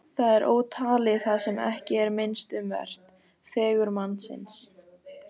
Þá er ótalið það sem ekki er minnst um vert: fegurð mannsins.